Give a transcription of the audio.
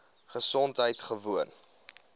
gesondheidgewoon